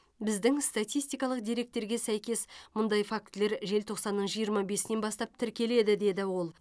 біздің статистикалық деректерге сәйкес мұндай фактілер желтоқсанның жиырма бесінен бастап тіркеледі деді ол